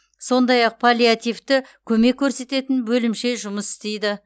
сондай ақ паллиативті көмек көрсететін бөлімше жұмыс істейді